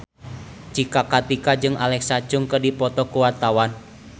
Cika Kartika jeung Alexa Chung keur dipoto ku wartawan